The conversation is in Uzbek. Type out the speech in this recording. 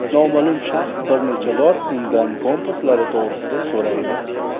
Noma’lum shaxs bir necha bor undan kompaslari to‘g‘risida so‘raydi.